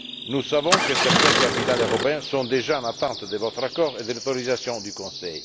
Nous savons que certaines capitales européennes sont déjà en attente de votre accord et de l'autorisation du Conseil.